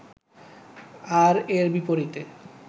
আর এর বিপরীতে